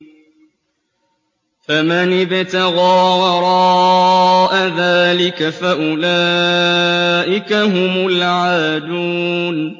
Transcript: فَمَنِ ابْتَغَىٰ وَرَاءَ ذَٰلِكَ فَأُولَٰئِكَ هُمُ الْعَادُونَ